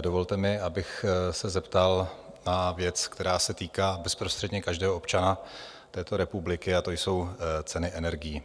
dovolte mi, abych se zeptal na věc, která se týká bezprostředně každého občana této republiky, a to jsou ceny energií.